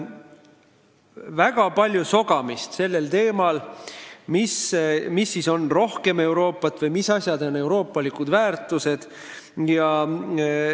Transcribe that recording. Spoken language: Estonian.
Teemal, mida ikkagi tähendab rohkem Euroopat või mis asjad on euroopalikud väärtused, on olnud väga palju sogamist.